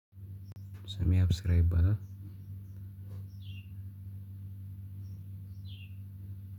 ስሜ የአብስራ ይባላል።